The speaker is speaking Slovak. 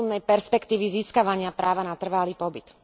rozumnej perspektívy získavania práva na trvalý pobyt.